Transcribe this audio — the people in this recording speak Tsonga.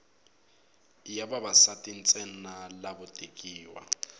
i ya vavasati ntsena lavo tekiwa